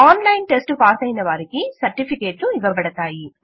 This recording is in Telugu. ఆన్లైన్ టెస్టు పాసైన వారికి సర్టిఫికేట్లు ఇవ్వబడతాయి